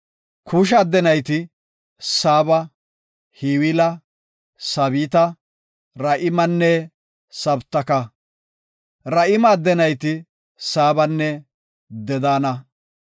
Kuusha adde nayti, Saaba, Hawila, Saabita, Ra7imanne Sabtaka. Ra7ime adde nayti; Saabanne Dedaana.